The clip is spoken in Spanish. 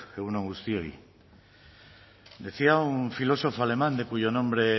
egun on guztiei decía un filósofo alemán de cuyo nombre